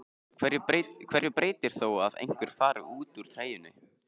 Hverju breytir það þó einhver fari úr treyjunni?